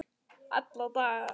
alla daga